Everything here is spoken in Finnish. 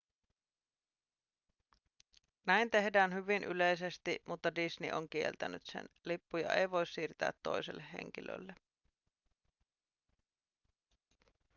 näin tehdään hyvin yleisesti mutta disney on kieltänyt sen lippuja ei voi siirtää toiselle henkilölle